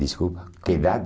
Desculpa, que idade?